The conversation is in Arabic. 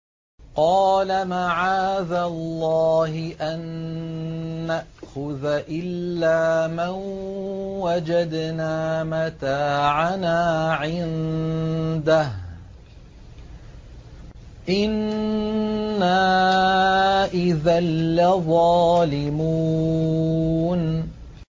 قَالَ مَعَاذَ اللَّهِ أَن نَّأْخُذَ إِلَّا مَن وَجَدْنَا مَتَاعَنَا عِندَهُ إِنَّا إِذًا لَّظَالِمُونَ